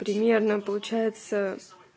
примерно получается